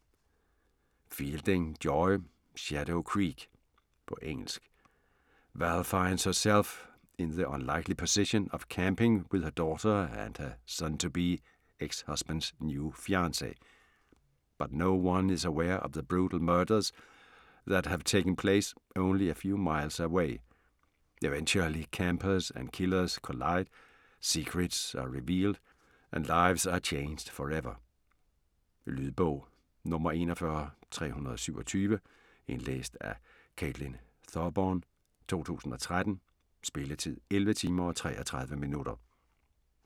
Fielding, Joy: Shadow Creek På engelsk. Val finds herself in the unlikely position of camping with her daughter and her soon-to-be ex-husband's new fiance. But no one is aware of the brutal murders that have taken place only a few miles away. Eventually campers and killers collide, secrets are revealed, and lives are changed forever. Lydbog 41327 Indlæst af Caitlin Thorburn, 2013. Spilletid: 11 timer, 33 minutter.